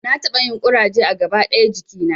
Na taɓa yin ƙuraje a gaba ɗaya jikina